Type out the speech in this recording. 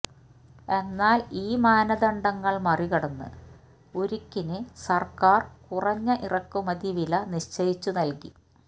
എന്നാല് ഈ മാനദണ്ഡങ്ങള് മറികടന്ന് ഉരുക്കിന് സര്ക്കാര് കുറഞ്ഞ ഇറക്കുമതി വില നിശ്ചയിച്ചു നല്കി